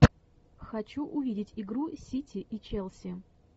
хочу увидеть игру сити и челси